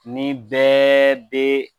Nin bɛɛ bɛ